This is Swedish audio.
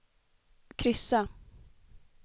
kryssa